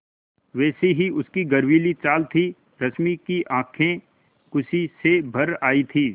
वैसी ही उसकी गर्वीली चाल थी रश्मि की आँखें खुशी से भर आई थीं